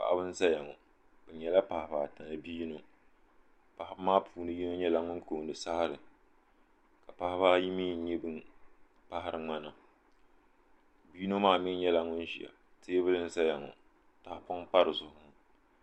paɣaba n ʒɛya ŋɔ bi nyɛla paɣaba ata ni bia yino paɣaba maa puuni yino nyɛla ŋun koondi saɣari ka paɣaba ayi mii nyɛ bin paɣari ŋmana bia yino maa mii nyɛla ŋun ʒiya teebuli n ʒɛya ŋɔ tahapɔŋ n pa dizuɣu ŋɔ